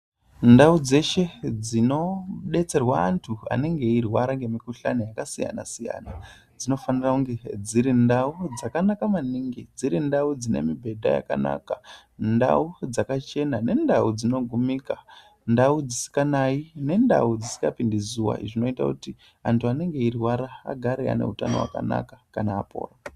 Ndau dzeshe dzinodetserwa anthu anenge eirwara nemikuhlani yakasiyana siyana dzinofanira kunge dziri ndau dzakanaka maningi, dziri ndau dzine mibhedha yakanaka, ndau dzakachena nendau dzinogumika, ndau dzisikanayi, ndau dzisikapindi zuwa. Zvinoita kuti anthu anenge eirwara agare ane utano hwakanaka kana apora.